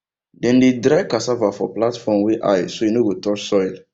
dem dey dry cassava for platform wey high so e no go touch soil